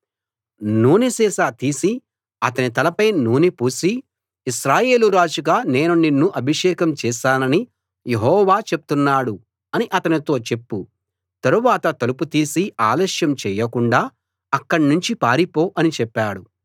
నూనె సీసా తీసి అతని తలపై నూనె పోసి ఇశ్రాయేలు రాజుగా నేను నిన్ను అభిషేకం చేసానని యెహోవా చెప్తున్నాడు అని అతనితో చెప్పు తరువాత తలుపు తీసి ఆలస్యం చేయకుండా అక్కడ్నించి పారిపో అని చెప్పాడు